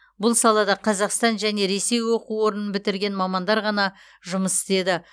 бұл салада қазақстан және ресей оқу орнын бітірген мамандар ғана жұмыс істеді